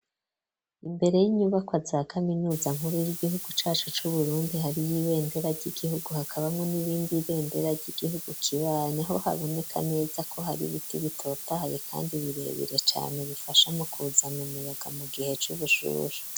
Imbere y'inyubakwa za kaminuza nkuru y'igihugu cacu cu Burundi hari y'ibendera ry'igihugu hakabamwo n'irindi bendera ry'igihugu kibanyi ho haboneka neza ko hari biti bitotahaye kandi birebere cane bifasha mu kuzana umuyaga mu gihe c'ubushuhe.